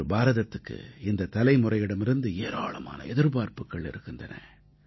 இன்று பாரதத்துக்கு இந்தத் தலைமுறையிடமிருந்து ஏராளமான எதிர்பார்ப்புக்கள் இருக்கின்றன